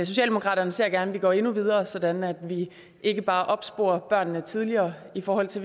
socialdemokratiet ser gerne at vi går endnu videre sådan at vi ikke bare opsporer børnene tidligere i forhold til